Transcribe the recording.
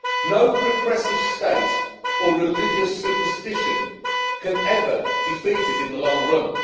No repressive state or religious superstition can ever defeat it in the long run.